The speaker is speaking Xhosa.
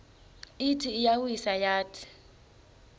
ithi iyawisa yathi